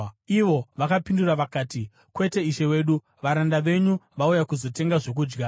Ivo vakapindura vakati, “Kwete, ishe wedu. Varanda venyu vauya kuzotenga zvokudya.